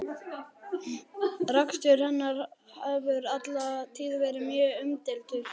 Rekstur hennar hefur alla tíð verið mjög umdeildur.